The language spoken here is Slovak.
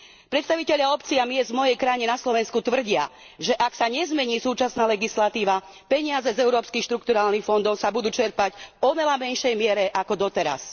Predstavitelia obcí a miest v mojej krajine, na Slovensku, tvrdia, že ak sa nezmení súčasná legislatíva, peniaze z európskych štrukturálnych fondov sa budú čerpať v oveľa menšej miere ako doteraz.